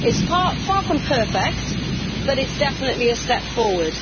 It is far from perfect but it is definitely a step forward.